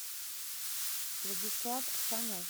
владислав тханов